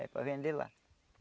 É para vender lá.